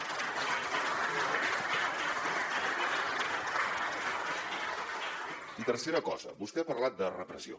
i tercera cosa vostè ha parlat de repressió